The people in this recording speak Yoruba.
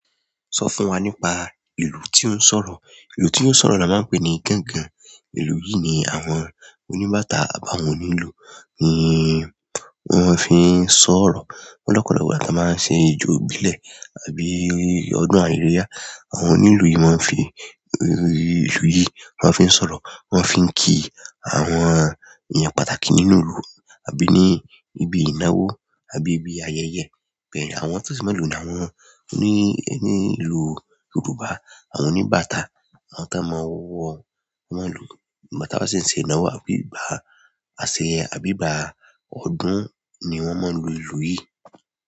Sọ fún wa nípa ìlú tí ó ń sọ̀rọ̀. Ìlú tí ó ń sọ̀rọ̀ la máa ń pè ní gangan. Ìlú yìí ni àwọn oníbàtà àbí awọ́n onílùú, ni, wọn fi ń sọ̀rọ̀. O lopolopo ìgbà ti a máa ń ṣe ijó ìbílẹ̀ àbí ọdún àríyá. Àwọn oni ìlú yìí maa fi, ìlú yìí maa n fi sọ̀rọ̀, won ma fi n ki àwọn ènìyàn pàtàkì nínú ìlú àbí nibi ìnáwó àbí nibi ayẹyẹ. Bẹ́ẹ̀ ni àwọn to si maa lo nì áwon ńi ìlú Yorùbá. Àwọn oníbàtà àwọn tí wọ́n máa wọ wọ́n lù. Ìgbátà ba sì ń ṣe ìnáwó àbí ìgbà àṣẹ àbí ìgbà ọdún ni wọ́n máa ń lu ìlú yìí.